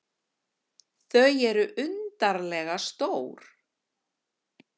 Þau eru undarlega stór.